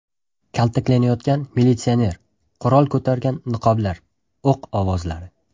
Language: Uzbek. Kaltaklanayotgan militsioner, qurol ko‘targan niqoblilar, o‘q ovozlari.